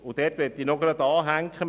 Hier möchte ich gleich anknüpfen.